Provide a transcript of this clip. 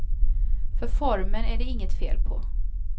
För formen är det inget fel på.